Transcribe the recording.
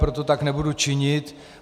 Proto tak nebudu činit.